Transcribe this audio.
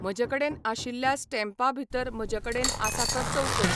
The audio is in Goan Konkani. म्हजे कडेन आशिल्ल्या स्टॅम्पा भितर म्हजे कडेन आसा तो चौकोन